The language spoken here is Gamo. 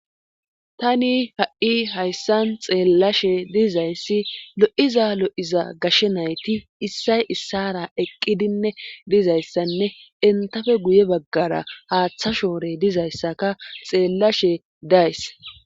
Tani ha7i hayssan xeellashe dizayssi lo7iza lo7iza gashshe nayti issay issara eqqidinne dizayssanne entafe guye baggara haaththa shoore dizayssaka xeellashe days.